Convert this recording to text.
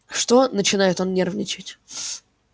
что начинает он нервничать